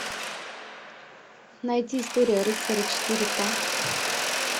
найди история рыцаря четыре ка